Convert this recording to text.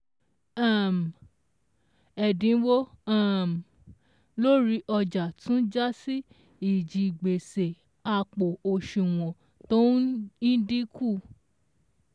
um Ẹ̀dínwó um lórí ọjà tún já sí ìjigbèsè àpò òṣùwọ̀n tó ín ldínkù.